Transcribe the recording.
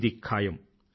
ఇది ఖాయం